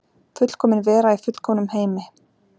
Fullkomin vera í fullkomnum heimi.